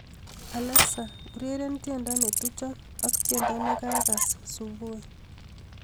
Alexa ureren tiendo netucho ak tiendo nekakass subui